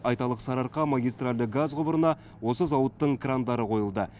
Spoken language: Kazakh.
айталық сарыарқа магистральді газ құбырына осы зауыттың крандары қойылды